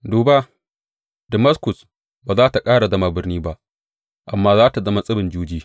Duba, Damaskus ba za tă ƙara zama birni ba amma za tă zama tsibin juji.